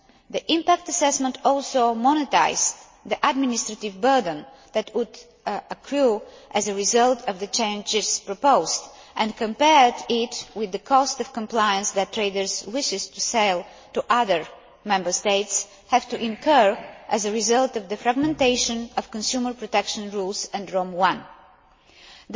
The impact assessment also monetised the administrative burden that would accrue as a result of the changes proposed, and compared it with the cost of compliance that traders wishing to sell to other Member States have to incur as a result of the fragmentation of consumer protection rules and Rome